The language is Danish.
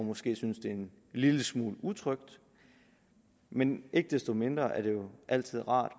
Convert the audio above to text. måske synes det er en lille smule utrygt men ikke desto mindre er det jo altid rart